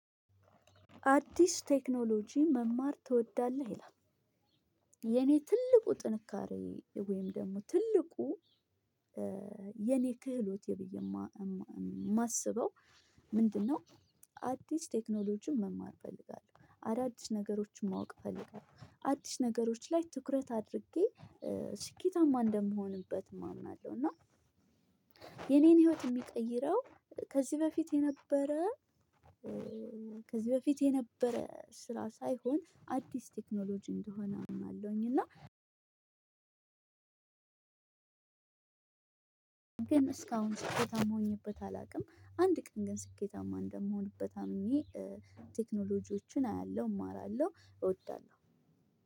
"አዲስ ቴክኖሎጂ መማር ትወዳለህ?" ይላል። የኔ ትልቁ ጥንካሬ ወይም ደግሞ ትልቁ የኔ ክህሎቴ ብዬ የማስበው ምንድነው አዲስ ቴክኖሎጂን መማር እፈልጋለሁ። አዳዲስ ነገሮችን ማወቅ እፈልጋለሁ። አዲስ ነገሮች ላይ ትኩረት አድርጌ ስኬታማ እንደምሆንበትም አምናለሁ እና የኔን ሂወት የሚቀይረው ከዚህ በፊት የነበረ ከዚህ በፊት የነበረ ስራ ሳይሆን አዲስ ቴክኖሎጂ እንደሆነ አምናለሁኝ እና ግን እስካሁን ስኬታማ ሆኜበት አላውቅም። አንድ ቀን ግን ስኬታማ እንደምሆንበት አምኜ ቴክኖሎጂዎችን አያለሁ እማራለሁ እወዳለሁ።